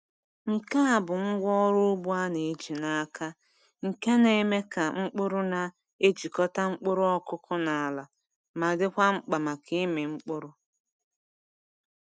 Nke a bụ ngwá ọrụ ugbo a na-eji n’aka nke na-eme ka mkpụrụ na-ejikọta mkpụrụ ọkụkụ na ala, ma dịkwa mkpa maka ịmị mkpụrụ.